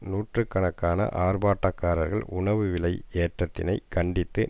நூற்று கணக்கான ஆர்ப்பாட்டக்காரர்கள் உணவு விலை ஏற்றத்தினை கண்டித்து